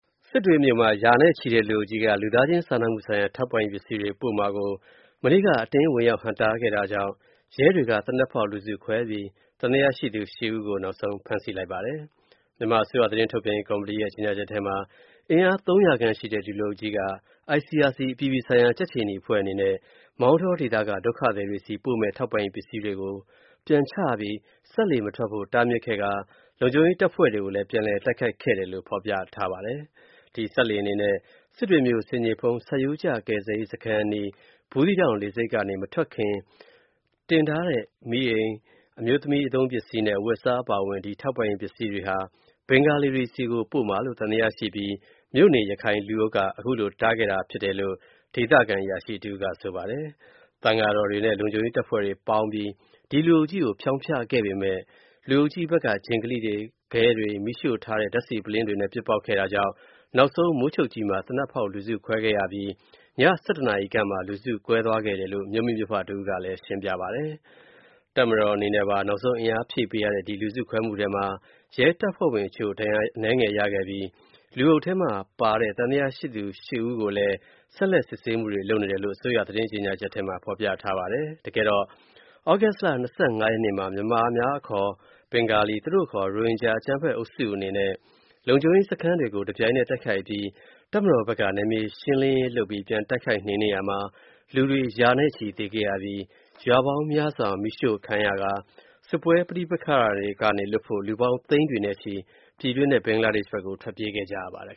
စစ်တွေမြို့မှာ ရာနဲ့ချီတဲ့ လူအုပ်ကြီးက လူသားချင်းစာနာမူဆိုင်ရာ ထောက်ပံ့ရေးပစ္စည်းတွေ ပို့မှာကို မနေ့က အတင်းဝင်ရောက်ဟန့်တားခဲ့တာကြောင့် ရဲတွေက သေနတ်ဖောက်လူစုခွဲခဲ့ပြီး သံသယရှိသူ (၈) ဦးကို ဖမ်းဆီးလိုက်ပါတယ်။ မြန်မာအစိုးရ သတင်းထုတ်ပြန်ရေးကော်မတီရဲ့ ကြေညာချက်ထဲမှာ အင်အား ၃၀၀ ခန့်ရှိတဲ့ ဒီလူအုပ်ကြီးက ICRI အပြည်ပြည်ဆိုင်ရာကြက်ခြေနီအဖွဲ့အနေနဲ့ မောင်တောဒေသက ဒုက္ခသည်တွေဆီပို့မယ့် ထောက်ပံ့ရေးပစ္စည်းတွေကို ပြန်ချပြီး၊ စက်လှေမထွက်ဖို့တားမြစ်ခဲ့ကာ လုံခြုံရေးတပ်ဖွဲ့တွေကိုလည်း ပြန်တိုက်ခိုက်ခဲ့တယ်လို့ ဖော်ပြထားပါတယ်။ ဒီစက်လှေအနေနဲ့ စစ်တွေမြို.ဆင်ခြေဖုံး ဆတ်ရိုးကျကယ်ဆယ်ရေးစခန်းအနီး ဘူးသီးတောင်စက်လှေဆိပ်ကနေ မထွက်ခွာခင် တင်ထားတဲ့ မီးအိမ်၊ အမျိုးသမီးသုံးပစ္စည်းနဲ့ အဝတ်အစားအပါအဝင် ဒီ ထောက်ပံရေးပစ္စည်းတွေဟာ ဘင်္ဂါလီတွေဆီပို့မှာလို့ သံသယရှိပြီး မြို့နေရခိုင်လူအုပ်က ခုလိုတားဖြစ်ခဲ့တာလို့ ဒေသခံအရာရှိတစ်ဦးက ဆိုပါတယ်။ သံဃာတော်များနဲ့ လုံခြုံရေးအဖွဲ့ဝင်တွေပေါင်းပြီး လူအုပ်ကြီးကို ဖျောင်းဖျခဲ့ပေမဲ့ လူအုပ်ဘက်က ဂျင်ကလိတွေ၊ ခဲတွေ၊ မီးရှို့ထားတဲ့ ဓာတ်ဆီပုလင်းတွေနဲ့ ပစ်ပေါက်ခဲ့တာကြောင့် နောက်ဆုံးမိုးချုပ်ကြီးမှာ သေနပ်ဖောက် လူစုခွဲခဲ့တာကြောင့် ည (၁၁) နာရီခန့်မှာ လူစုကွဲသွားခဲ့တယ်လို့ မြို့မိမြို့ဖတစ်ဦးက ရှင်းပြပါတယ်။ တပ်မတော်အနေနဲ့ပါ နောက်ဆုံးအားဖြည့်ပေးတဲ့ ဒီလူစုခွဲမှုထဲမှာ ရဲတပ်ဖွဲ့ဝင် တချို့ ဒဏ်ရာအနည်းငယ်ရခဲ့ပြီး လူအုပ်ထဲမှာပါတဲ့ သံသယရှိသူ (၈) ဦးကို ဆက်လက်စစ်ဆေးမှုတွေလုပ်နေတယ်လို့ အစိုးရသတင်းကြေညာချက်ထဲမှာ ဖော်ပြထားပါတယ်။ သြဂုတ်လ (၂၅) ရက်နေ့မှာ မြန်မာအများအခေါ် ဘင်္ဂါလီ၊ သူတို့အခေါ် ရိုဟင်ဂျာ အကြမ်းဖက်အုပ်စုအနေနဲ့ လုံခြုံရေးစခန်းတွေကို တပြိုင်နက်တိုက်ခိုက်အပြီး၊ တပ်မတော်ဖက်က နယ်မြေရှင်းလင်းတိုက်ခိုက်ရာမှာ လူတွေရာနဲ့ချီသေခဲ့ရပြီး၊ ရွာပေါင်းများစွာမီးရှို.ခံရကာ၊ စစ်ပွဲပဋိပက္ခတွေကနေလွတ်ဖို့ လူပေါင်း သိန်းတွေနဲ့ချီ ပြည်တွင်းနဲ့ ဘင်္ဂလားဒေ့ရှ်ကို ထွက်ပြေးခဲ့ကြရပါတယ်